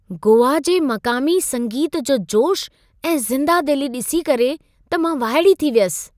गोआ जे मक़ामी संगीत जो जोश ऐं ज़िंदादिली ॾिसी करे त मां वाइड़ी थी वियसि।